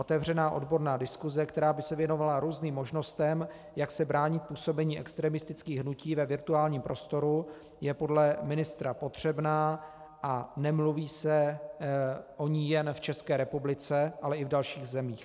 Otevřená odborná diskuse, která by se věnovala různým možnostem, jak se bránit působení extremistických hnutí ve virtuálním prostoru, je podle ministra potřebná a nemluví se o ní jen v České republice, ale i v dalších zemích.